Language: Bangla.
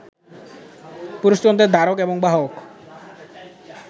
পুরুষতন্ত্রের ধারক এবং বাহক